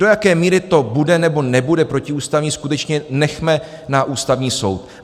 Do jaké míry to bude, nebo nebude protiústavní, skutečně nechme na Ústavní soud.